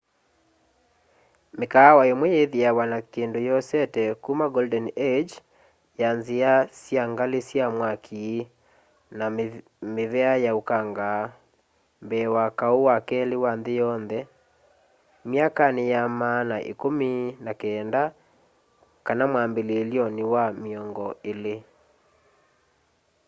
mikaawa imwe yithiawa na kindu yosete kuma golden age ya nzia sya ngali sya mwaki na mivia ya ukanga mbee wa kau wa keli wa nthi yonthe myakani ya maana ikumi na kenda kana mwambililyoni wa miongo ili